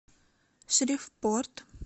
шривпорт